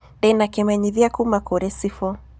Ndĩ na kĩmenyithia kuuma kũrĩ cibu.